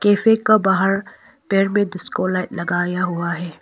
Cafe का बाहर पेड़ में डिस्को लाइट लगाया हुआ है।